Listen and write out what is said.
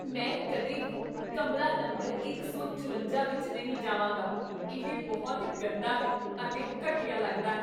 ਮੈਂ ਕਦੇ ਵੀ ਕਮਰਾ ਨੰਬਰ ਇੱਕ ਸੌ ਚੁਰੰਜਾ ਵਿੱਚ ਨਹੀਂ ਜਾਵਾਂਗਾ, ਇਹ ਬਹੁਤ ਗੰਦਾ ਹੈ ਅਤੇ ਘਟੀਆ ਲੱਗਦਾ ਹੈ